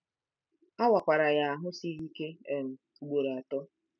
A wakwara ya ahụ́ siri ike um ugboro atọ.